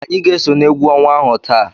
Anyị ga-eso n'egwu ọnwa ahụ taa.